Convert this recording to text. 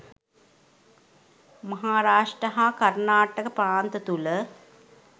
මහාරාෂ්ට්‍ර හා කර්ණාටක ප්‍රාන්ත තුළ